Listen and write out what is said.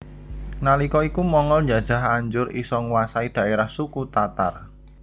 Nalika iku Mongol njajah anjur isa nguwasai dhaerahe suku Tatar